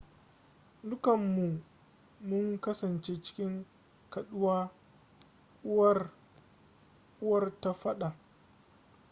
dukanmu mun kasance cikin kaɗuwa uwar ta faɗa